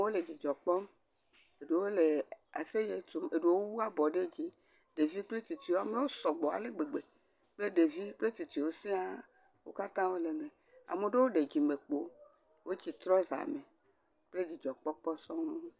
Wole dzidzɔ kpɔm, eɖewo le aseye tsom eɖewo wu abɔ ɖe dzi, ɖeviwo kple tsitsiawo amewo sɔgbɔ ale gbegbe kple ɖevi kple tsitsiawo siaa wo katã wole eme ame ɖewo ɖe dzimekpo wotsi trɔza me kple dzidzɔkpɔkpɔ sɔŋ.